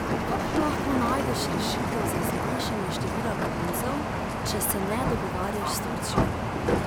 Kako lahko najdeš rešitev za zmanjšanje števila beguncev, če se ne dogovarjaš s Turčijo?